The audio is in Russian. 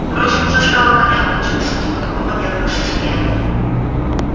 впрочем уже стало понятно в чём суть его такого нервного состояния